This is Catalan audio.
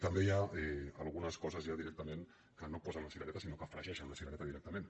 també hi ha algunes coses ja directa·ment que no posen la cirereta sinó que fregeixen la cirereta directament